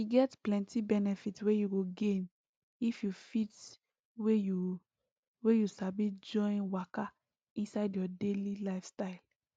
e get plenty benefit wey you go gain if you fit wey you wey you sabi join waka inside your daily lifestyle